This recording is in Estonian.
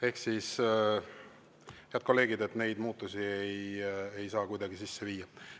Ehk siis, head kolleegid, neid muudatusi ei saa kuidagi sisse viia.